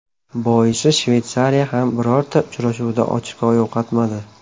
Boisi Shveysariya ham birorta uchrashuvda ochko yo‘qotmadi.